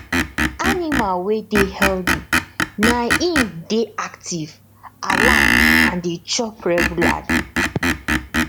animal wey dey healthy na im dey active alert and dey chop regularly